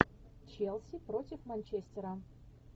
челси против манчестера